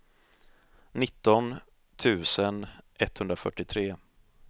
nitton tusen etthundrafyrtiotre